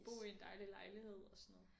Bo i en dejlig lejlighed og sådan noget